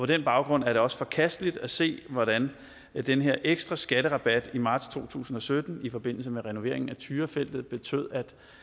den baggrund er det også forkasteligt at se hvordan den her ekstra skatterabat i marts to tusind og sytten i forbindelse med renoveringen af tyrafeltet betød